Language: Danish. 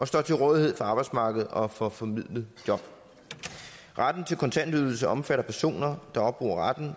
står til rådighed for arbejdsmarkedet og får formidlet job retten til kontantydelse omfatter personer der opbruger retten